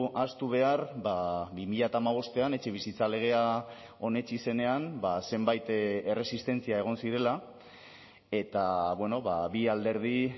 ahaztu behar bi mila hamabostean etxebizitza legea onetsi zenean zenbait erresistentzia egon zirela eta bi alderdi